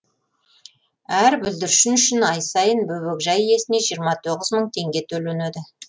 әр бүлдіршін үшін ай сайын бөбекжай иесіне жиырма тоғыз мың теңге төленеді